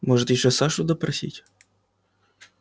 можете ещё сашу допросить